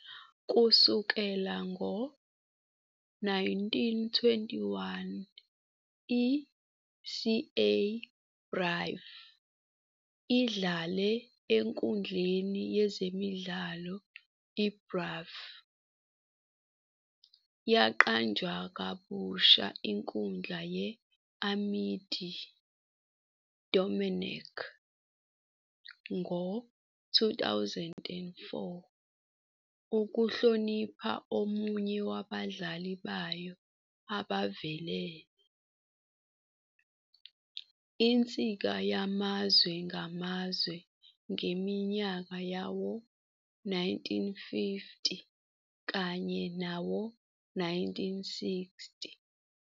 Kusukela ngo-1921, i-CA Brive idlale enkundleni yezemidlalo iBrive, yaqanjwa kabusha inkundla ye-Amédée-Domenech ngo-2004 ukuhlonipha omunye wabadlali bayo abavelele, insika yamazwe ngamazwe ngeminyaka yawo-1950 kanye nawo-1960.